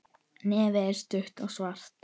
Nefið er stutt og svart.